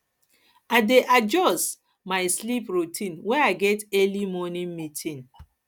i dey adjust dey adjust my sleep routine when i get early morning meetings